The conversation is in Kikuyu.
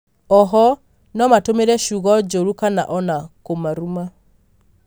oho nomatũmĩre ciugo njũru kana ona kũmaruma.